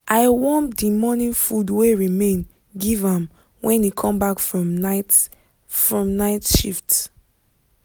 i warm the morning food wey remain give am when e come back from night from night shift